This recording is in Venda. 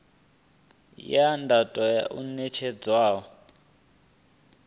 ya do tea u netshedzwa